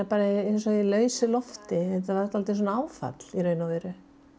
eins og í lausu lofti þetta var eins og áfall í raun og veru